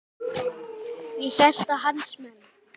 Ég hélt að hans menn.